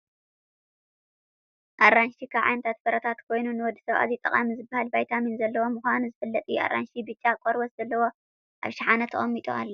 ኣራንሺ ካብ ዓይነት ፍሩታት ኮይኑ ንወድሰብ ኣዝዩ ጠቃሚ ዝበሃል ቨይታሚን ዘለዎ ምካኑ ዝፍለጥ እዩ ፣ ኣራንሺ ቢጫ ቆርበት ዘለዎ ኣብ ሸሓነ ተቀሚጡ ኣሎ።